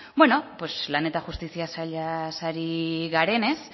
beno pues lan eta justizia sailaz ari garenez